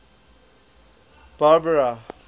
barbara